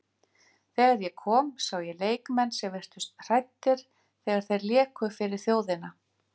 Þegar ég kom sá ég leikmenn sem virtust hræddir þegar þeir léku fyrir þjóðina.